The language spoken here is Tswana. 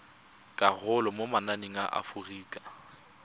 karolo mo mananeng a aforika